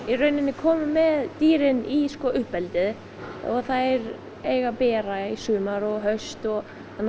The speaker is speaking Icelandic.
komin með dýrin í uppeldið og þær eiga að bera í sumar og haust og